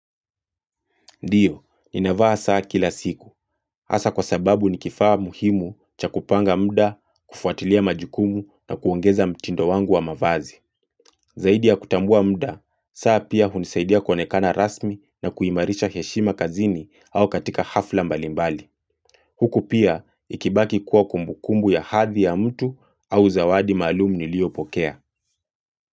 Ndiyo, ninavaa saa kila siku. Asa kwa sababu ni kifaa muhimu cha kupanga mda, kufuatilia majukumu na kuongeza mtindo wangu wa mavazi. Zaidi ya kutambua mda, saa pia hunisaidia konekana rasmi na kuimarisha heshima kazini au katika hafla mbalimbali. Huku pia, ikibaki kuwa kumbukumbu ya hadhi ya mtu au zawadi malum niliopokea.